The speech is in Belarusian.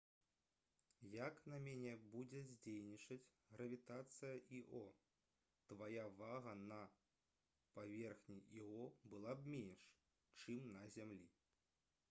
як на мяне будзе дзейнічаць гравітацыя іо твая вага на паверхні іо была б менш чым на зямлі